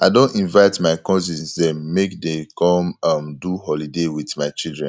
i don invite my cousins dem make dey come um do holiday wit my children